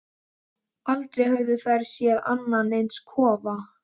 Aldrei höfðu þær séð annan eins kofa.